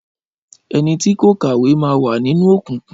Ẹnití kò kàwé máa wà nínú òkùnkùn.